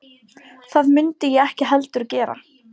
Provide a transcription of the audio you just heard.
Það mundi ég ekki heldur gera